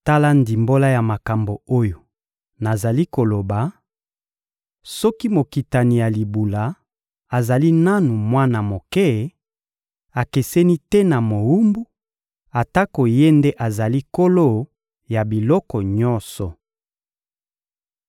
Tala ndimbola ya makambo oyo nazali koloba: soki mokitani ya libula azali nanu mwana moke, akeseni te na mowumbu, atako ye nde azali nkolo ya biloko nyonso.